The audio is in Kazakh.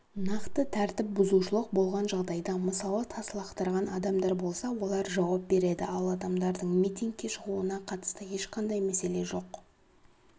нақты тәртіп бұзушылық болған жағдайда мысалы тас лақтырған адамдар болса олар жауап береді ал адамдардың митингке шығуына қатысты ешқандай мәселе жоқ